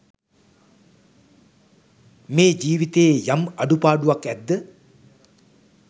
මේ ජීවිතයේ යම් අඩුපාඩුවක් ඇද්ද